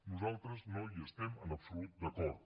nosaltres no hi estem en absolut d’acord